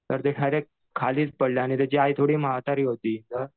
तर ते डायरेक्ट खालीच पडले आणि त्याची आई थोडी म्हातारी होती